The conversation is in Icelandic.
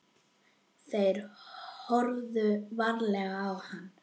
Þeir horfðu varla á hann.